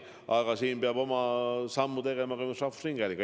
Aga siin peab oma sammu tegema ka rahvusringhääling.